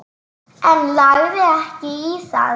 En lagði ekki í það.